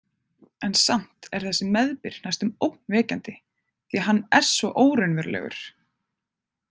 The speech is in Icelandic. En samt er þessi meðbyr næstum ógnvekjandi því að hann er svo óraunverulegur.